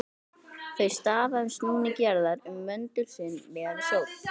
Þau stafa af snúningi jarðar um möndul sinn, miðað við sól.